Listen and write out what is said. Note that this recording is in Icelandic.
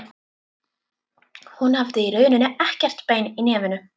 Hún hafði í rauninni ekkert bein í nefinu.